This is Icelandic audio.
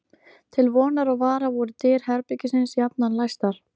Til vonar og vara voru dyr herbergisins jafnan læstar.